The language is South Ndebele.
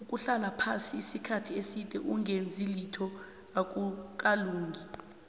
ukuhlala phasi isikhathi eside ongenzilitho akukalungi